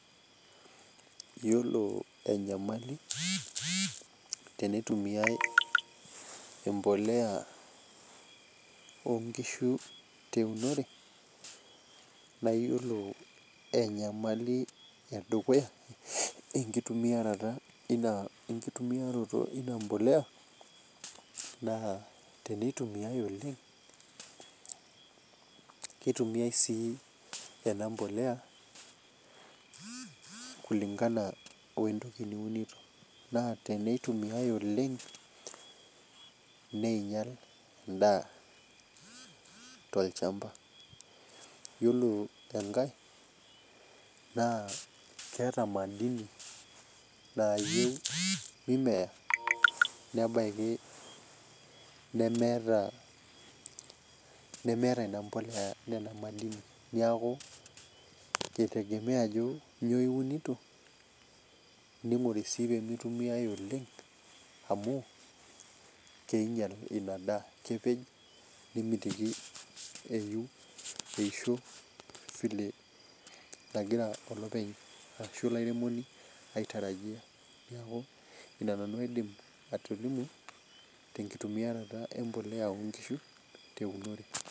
iyiolo enyamali tinitumiyai embolea oo inkishu teunore naa iyiolo enyamali edukuya naa kitumiyai sii embolea kulingana wentoki niunito naa tenei tumiyai oleng'nengial edaa tolchamba, iyiolo engae naa keeta imali nayieu mimeya nebaki nemeeta ina mpolea nena mali inyi neeku kitegemea ajo inyoo iunito, ning'ori sii pee mitumiyai oleng' amu king'ial ina daa kepej nemitiki eisho vile nagira olopeny ashu olairemoni aitarajia neeku ina nanu aidim atolimu tenkitumiarata empolea oo inkishu teunore.